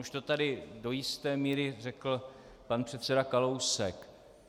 Už to tady do jisté míry řekl pan předseda Kalousek.